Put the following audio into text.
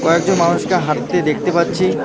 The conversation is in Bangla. কয়েকজন মানুষকে হাঁটতে দেখতে পাচ্ছি।